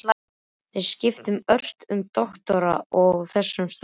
Þeir skiptu ört um doktora á þessum stað.